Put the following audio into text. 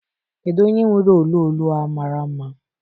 Kedu onye nwere olu olu a mara mma?